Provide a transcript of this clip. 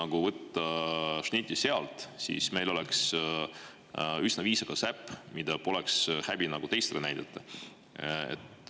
Kui võtta šnitti sealt, siis meil oleks üsna viisakas äpp, mida poleks häbi teistele näidata.